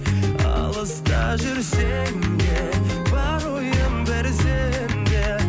алыста жүрсем де бар ойым бір сенде